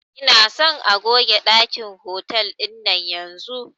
Ina son a goge ɗakin hotal ɗinan yanzun